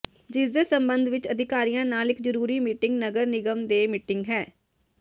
ਜਿਸਦੇ ਸਬੰਧ ਵਿਚ ਅਧਿਕਾਰੀਆਂ ਨਾਲ ਇਕ ਜ਼ਰੂਰੀ ਮੀਟਿੰਗ ਨਗਰ ਨਿਗਮ ਦੇ ਮੀਟਿੰਗ ਹਾ